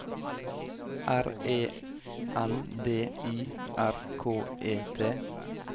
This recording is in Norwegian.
R E N D Y R K E T